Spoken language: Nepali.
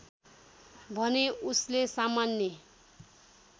भने उसले सामान्य